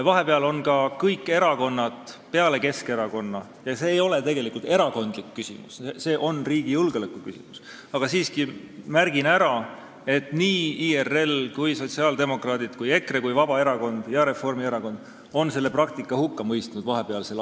Vahepealsel ajal on kõik erakonnad peale Keskerakonna – see ei ole tegelikult erakondlik küsimus, see on riigi julgeoleku küsimus, aga märgin selle siiski ära – ehk IRL, sotsiaaldemokraadid, EKRE, Vabaerakond ja Reformierakond selle praktika hukka mõistnud.